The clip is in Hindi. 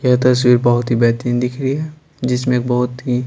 यह तस्वीर बहुत ही बेहतरीन दिख रही है जिसमें बहुत ही--